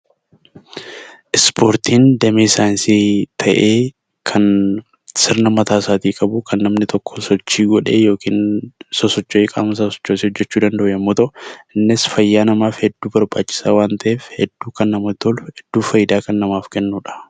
Spoortiin damee saayinsii ta'ee kan sirna mataa isaatii qabu, kan namni tokko sochii godhee yookiin sosocho'ee, qaama sosochoosee hojjechuu danda'u yommuu ta'u, innis fayyaa namaaf hedduu barbaachisaa waan ta'eef, hedduu kan namatti tolu, hedduu faayidaa kan namaaf kennu dha.